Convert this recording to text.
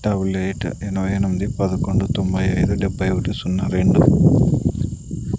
Double eight ఎనభై ఎనిమిది పదకొండు తొంభై ఐదు డెబ్బై ఒకటి సున్న రెండు.